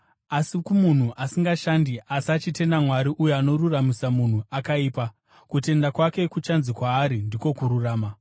Asi kumunhu asingashandi, asi achitenda Mwari uyo anoruramisira munhu akaipa, kutenda kwake kuchanzi kwaari ndiko kururama.